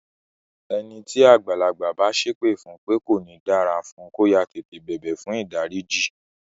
Ẹni tí àgbàlagbà bá sépè fún pé kò ní dára fún, kó yáá tètè bẹ̀bẹ̀ fùn ìdáríjì.